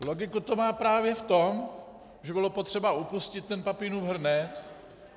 Logiku to má právě v tom, že bylo potřeba upustit ten Papinův hrnec.